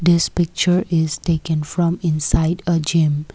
this picture is taken from inside the gym.